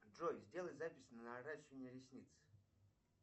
джой сделай запись на наращивание ресниц